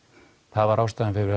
það var ástæðan fyrir